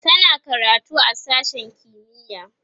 tana karatu a sashen kimiya